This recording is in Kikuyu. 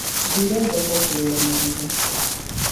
Thire thoko kũgũra marigũ.